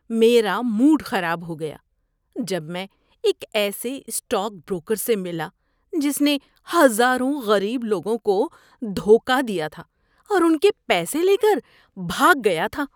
میرا موڈ خراب ہو گیا جب میں ایک ایسے اسٹاک بروکر سے ملا جس نے ہزاروں غریب لوگوں کو دھوکہ دیا تھا اور ان کے پیسے لے کر بھاگ گیا تھا۔